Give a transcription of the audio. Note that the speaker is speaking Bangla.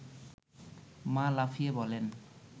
মা লাফিয়ে বলেন